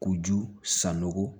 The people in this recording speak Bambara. K'u ju san nɔgɔn